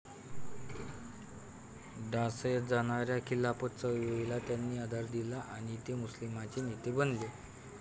ढासळत जाणाऱ्या खिलाफत चळवळीला त्यांनीं आधार दिला आणि ते मुस्लिमांचे नेते बनले.